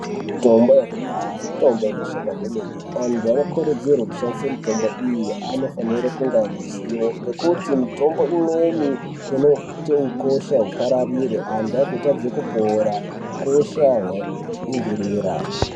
Mitombo yakudhaya mitombo inoshanda kwemene antu anokurudzirwe kushandisa mitombo iyi anofanira kunge aine zivo. Ngekuti mitombo imweni inote ukosha hupararire antu agotadze kupora ukosha hwapindirira.